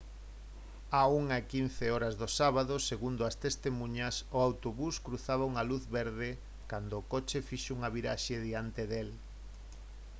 á 1:15 h do sábado segundo as testemuñas o autobús cruzaba unha luz verde cando o coche fixo unha viraxe diante del